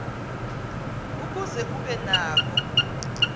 ukuze ube nako